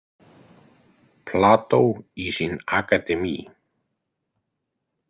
Plato i sin akademi.